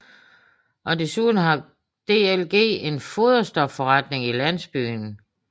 Desuden har DLG en foderstofforretning i landsbyen